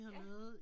Ja